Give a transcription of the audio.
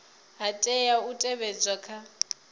ha tea u teavhedzwa kha